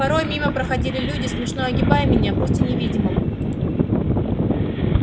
порой мимо проходили люди смешно огибая меня пусть и невидимого